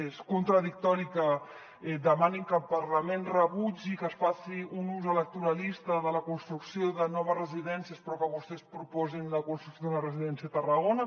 és contradictori que demanin que el parlament rebutgi que es faci un ús electoralista de la construcció de noves residències però que vostès proposin la concessió d’una residència a tarragona